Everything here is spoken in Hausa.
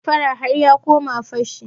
Daga damfara har ya koma fashi.